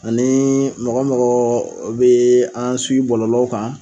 Ani mɔgɔ mɔgɔ bɛ an bɔlɔlɔ kan.